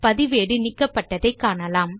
பதிவேடு நீக்கப்பட்டதை காணலாம்